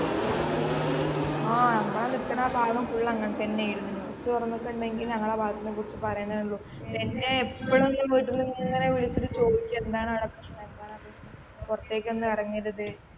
ആ നമ്മള് ആ നിക്കണ ആ ഭാഗം full അങ്ങൻതന്നെ ആയിരുന്നു news തുറന്നിട്ടുണ്ടെങ്കിൽ ഞങ്ങളെ ആ ഭാഗത്തിനെ കുറിച്ച് പറയാനെ ഉള്ളു എന്നെ എപ്പോഴെങ്കിലും വീട്ടിൽന്ന് ഇങ്ങനെ വിളിച്ചിട്ട് ചോദിക്കും എന്താണ് അടെ പ്രശ്നം എന്താണ് അടെ പ്രശ്നം പൊറത്തേക്ക് ഒന്നും ഇറങ്ങരുത്